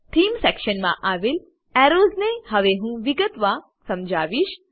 themes સેક્શનમાં આવેલ arrows ને હવે હું વિગતમાં સમજાવીશ